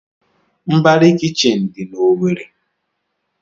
Mbarị kichin dị n'Owerri.